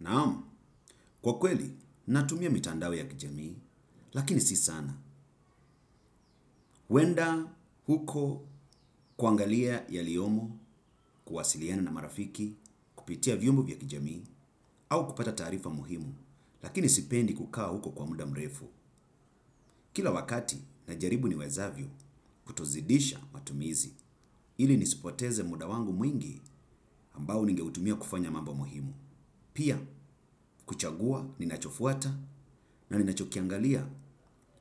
Naamu, kwa kweli, natumia mitandao ya kijamii, lakini si sana. Wenda huko kuangalia yaliyomo, kuwasiliani na marafiki, kupitia vyombo vya kijamii, au kupata tarifa muhimu, lakini sipendi kukawa huko kwa muda mrefu. Kila wakati na jaribu niwezavyo kutozidisha matumizi, ili nisipoteze muda wangu mwingi ambao ningeutumia kufanya mambo muhimu. Pia kuchagua ninachofuata na ninachokiangalia